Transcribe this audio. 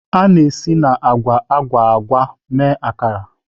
A na-esi na agwa agwa agwa mee Akara.